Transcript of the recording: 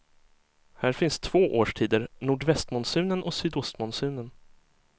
Här finns två årstider, nordvästmonsunen och sydostmonsunen.